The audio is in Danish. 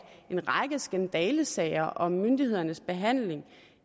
en række skandalesager om myndighedernes behandling